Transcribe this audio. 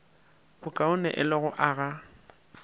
bokaone e le go aga